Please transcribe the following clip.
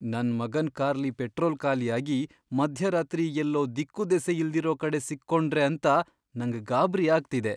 ನನ್ ಮಗನ್ ಕಾರ್ಲಿ ಪೆಟ್ರೋಲ್ ಖಾಲಿ ಆಗಿ ಮಧ್ಯರಾತ್ರಿ ಎಲ್ಲೋ ದಿಕ್ಕುದೆಸೆ ಇಲ್ದಿರೋ ಕಡೆ ಸಿಕ್ಕೊಂಡ್ರೆ ಅಂತ ನಂಗ್ ಗಾಬ್ರಿ ಆಗ್ತಿದೆ.